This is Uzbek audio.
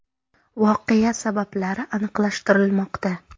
Voqea sabablari aniqlashtirilmoqda.